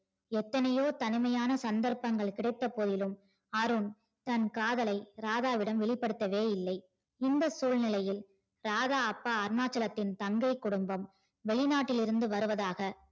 எத்தனையோ தனிமையான சந்தர்ப்பம் கிடைத்த போதிலும் அருண் தன் காதலை ராதாவிடம் வெளிபடுத்தவே இல்லை இந்த சூழ்நிலையில் ராதா அப்பா அருணாச்சலத்தின் தந்தை குடும்பம் வெளிநாட்டில் இருந்து வருவதாக